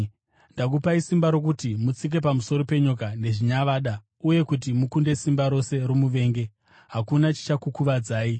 Ndakupai simba rokuti mutsike pamusoro penyoka nezvinyavada uye kuti mukunde simba rose romuvengi; hakuna chichakukuvadzai.